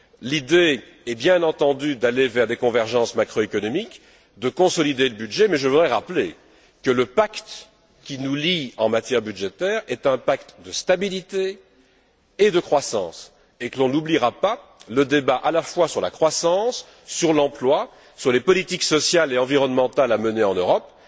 L'idée est bien entendu d'aller vers des convergences macroéconomiques, de consolider le budget mais je voudrais rappeler que le pacte qui nous lie en matière budgétaire est un pacte de stabilité et de croissance et que l'on n'oubliera pas non plus le débat sur la croissance, sur l'emploi et sur les politiques sociales et environnementales à mener en Europe.